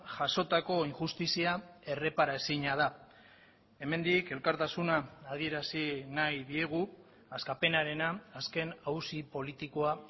jasotako injustizia errepara ezina da hemendik elkartasuna adierazi nahi diegu askapenarena azken auzi politikoa